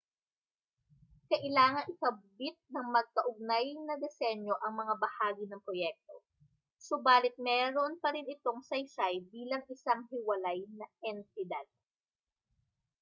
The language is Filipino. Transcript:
kailangang ikabit ng magkaugnay na disenyo ang mga bahagi ng proyekto subalit mayroon pa rin itong saysay bilang isang hiwalay na entidad